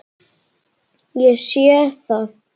Ég sé það.